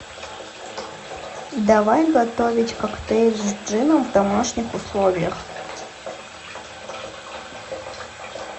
давай готовить коктейль с джином в домашних условиях